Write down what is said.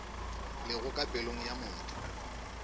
lego ka pelong ya motho